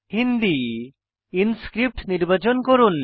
Hindi Inscript নির্বাচন করুন